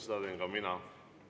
Seda teen ka mina.